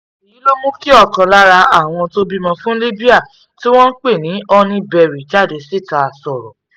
èyí ló mú kí ọ̀kan lára àwọn tó bímọ fún libre tí wọ́n ń pè ní honeyberry jáde síta sọ̀rọ̀